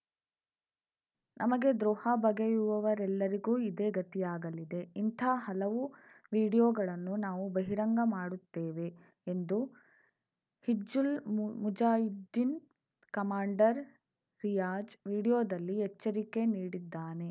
ನಮಗೆ ದ್ರೋಹ ಬಗೆಯುವವರೆಲ್ಲರಿಗೂ ಇದೇ ಗತಿಯಾಗಲಿದೆ ಇಂಥ ಹಲವು ವಿಡಿಯೋಗಳನ್ನು ನಾವು ಬಹಿರಂಗ ಮಾಡುತ್ತೇವೆ ಎಂದು ಹಿಜ್ಜುಲ್‌ ಮುಜಾಹಿದೀನ್‌ ಕಮಾಂಡರ್‌ ರಿಯಾಜ್‌ ವಿಡಿಯೋದಲ್ಲಿ ಎಚ್ಚರಿಕೆ ನೀಡಿದ್ದಾನೆ